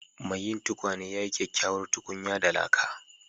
Mai yin tukwane ya yi kyakkyawar tukunya da laka.